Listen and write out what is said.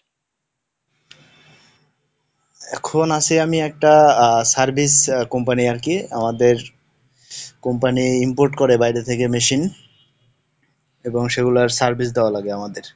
এখন আছি আমি একটা Service company আর কি আমাদের company import করে বাইরে থেকে machine, এবং সেগুলার Service দেওয়া লাগে আমাদের।